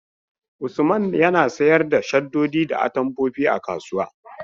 Usman yana Sayar da shaddoji da atamfofi a kasuwa.